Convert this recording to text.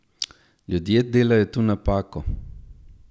Ljudje delajo tu napako.